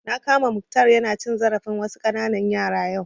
Na kama Mukhtar ya na cin zarafin wasu ƙananan yara yau